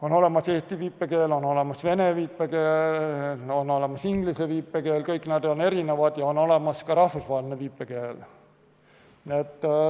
On olemas eesti viipekeel, on olemas vene viipekeel, on olemas inglise viipekeel, kõik nad on erinevad, ja on olemas ka rahvusvaheline viipekeel.